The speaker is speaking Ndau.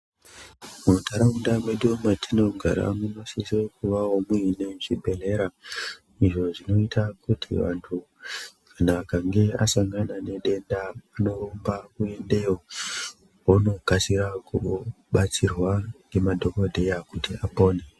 Munharaunda mwedu mwatinogara munosise kuvawo mune zvibhehlera izvo zvinoita kuti vantu kana akange asangana nedenda anorumba kuendeyo onokasira kubatsirwa ngemadhokodheya kuti apone.